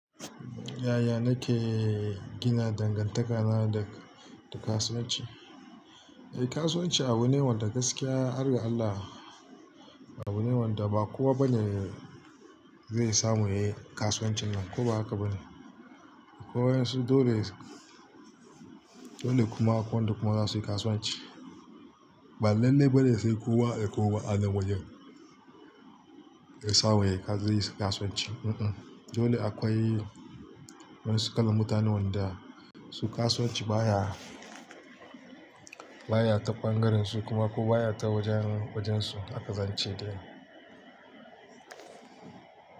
Yaya nake gina dangantakana da, da kasuwanci? Eh kasuwanci abu ne wanda gaskiya harga Allah, abu ne wanda ba kowa bane, zai samu yayi kasuwancin nan ko ba haka bane. Ko waƴansu dole, dole kuma akwai wanda kuma zasu yi kasuwanci. Ba lallai bane sai kowa, eh kowa a nan wajen, zai samu yayi, zai yi kasuwanci. Un-un, dole akwai wa'insu kalan mutanen wanda su kasuwanci baya, baya ta ɓangaren su, kuma ko baya ta wajen, wajen su haka zance dai.